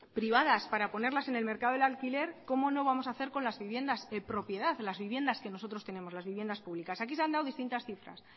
privadas para ponerlas en el mercado del alquiler cómo no vamos a hacer con las viviendas en propiedad las viviendas que nosotros tenemos las viviendas públicas aquí se ha hablado de distintas cifras